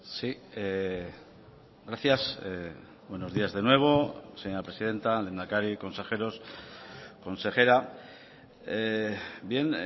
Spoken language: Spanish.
sí gracias buenos días de nuevo señora presidenta lehendakari consejeros consejera bien